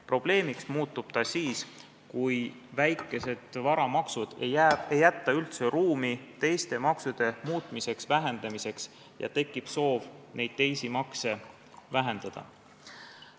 Probleemiks muutub see siis, kui väikesed varamaksud ei jäta üldse ruumi teiste maksude muutmiseks, vähendamiseks, aga tekib soov neid teisi makse vähendada.